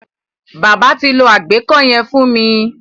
Bábà ti lo àgbẹ́kó yẹn fún mi.